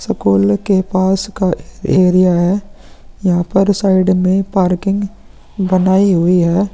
School के पास का एरिया है। यहाँ पर साइड मे पार्किंग बनाई हुई है।